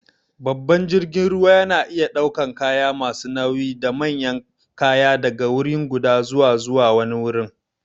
Babban jirgin ruwa yana iya ɗaukan kaya masu nauyi da manyan kaya daga wuriguda zuwa zuwa wani wurin.